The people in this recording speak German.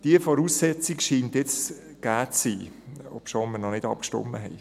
Diese Voraussetzung scheint jetzt gegeben zu sein, obschon wir noch nicht abgestimmt haben.